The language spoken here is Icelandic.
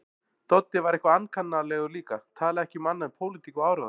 Doddi var eitthvað ankannalegur líka, talaði ekki um annað en pólitík og áróður.